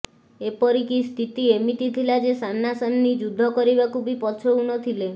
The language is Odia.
ଏପରିକି ସ୍ଥିତି ଏମିତି ଥିଲା ଯେ ସାମ୍ନା ସାମ୍ନି ଯୁଦ୍ଧ କରିବାକୁ ବି ପଛଉଁନଥିଲେ